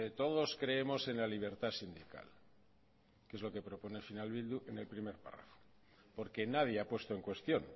todos creemos en la libertad sindical que es lo que propone al final bildu en el primer párrafo porque nadie ha puesto en cuestión